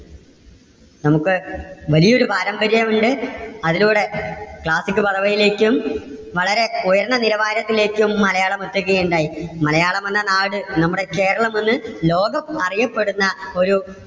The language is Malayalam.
നമുക്ക് വലിയൊരു പാരമ്പര്യം ഉണ്ട്. അതിനോട് classic പദവിയിലേക്കും വളരെ ഉയർന്ന നിലവാരത്തിലേക്കും മലയാളം എത്തുകയുണ്ടായി. മലയാളം എന്ന നാട് നമ്മുടെ കേരളം ഇന്ന് ലോകം അറിയപ്പെടുന്ന ഒരു